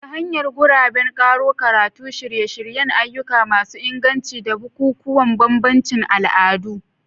Ta hanyar guraben karo karatu, shirye-shiryen ayyuka masu inganci, da bukukuwan bambancin al'adu.